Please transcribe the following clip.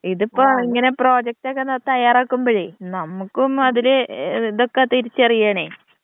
ഇതിപ്പോ ഇങ്ങനെ പ്രൊജക്റ്റ് ഒക്കെ തയ്യാറാക്കുമ്പളെ നമുക്കും അതില് ഇതൊക്ക തിരിച്ചറിയേണെ.